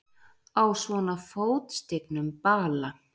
Á svona fótstignum bala!